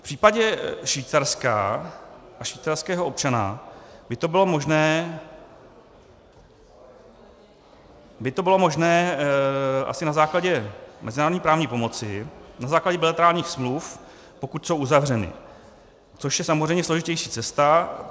V případě Švýcarska a švýcarského občana by to bylo možné asi na základě mezinárodní právní pomoci, na základě bilaterálních smluv, pokud jsou uzavřeny, což je samozřejmě složitější cesta.